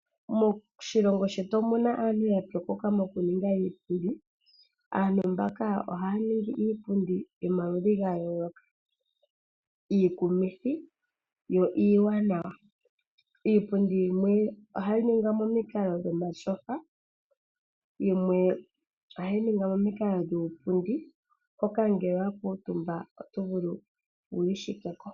Moshilongo shetu omuna aantu yapyokoka mokuninga iipundi. Aantu mbaka ohaya ningi iipundi yomaludhi ga yooloka, iikumithi yo iiwanawa. Iipundi yimwe ohayi ningwa momikalo dhomatyofa, yimwe ohayi ningwa momikalo dhuupundi hoka ngele owa kuutumba otovulu wiishike ko.